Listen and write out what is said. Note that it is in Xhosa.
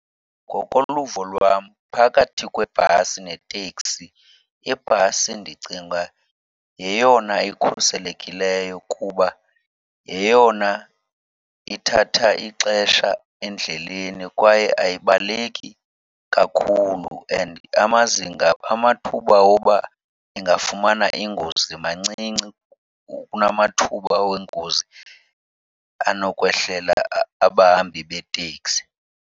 Ngokoluvo lwam phakathi kwebhasi neteksi, ibhasi ndicinga yeyona ikhuselekileyo kuba yeyona ithatha ixesha endleleni kwaye ayibaleki kakhulu. And amazinga, amathuba woba ingafumana ingozi mancinci kunamathuba wengozi anokwehlela abahambi beteksi.